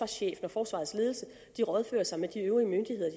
chef og forsvarets ledelse rådfører sig med de øvrige myndigheder